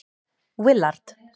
Willard